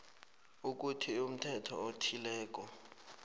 ukuthi umthetho othileko